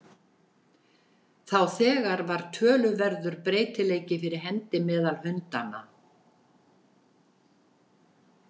Þá þegar var töluverður breytileiki fyrir hendi meðal hundanna.